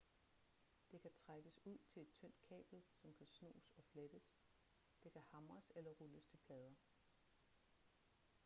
det kan trækkes ud til et tyndt kabel som kan snoes og flettes det kan hamres eller rulles til plader